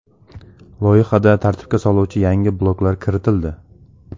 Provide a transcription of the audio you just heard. Loyihada tartibga soluvchi yangi bloklar kiritildi.